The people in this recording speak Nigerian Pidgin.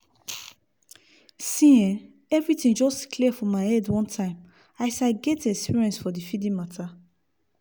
see eh everything just clear for my head one time as i get experience for the feeding matter